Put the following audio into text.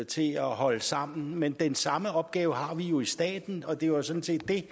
til at holde sammen men den samme opgave har vi jo i staten og det var sådan set det